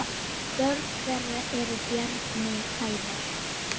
Rökræða var honum töm.